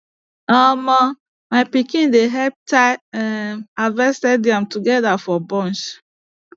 um my pikin dey help tie um harvested yam together for bunch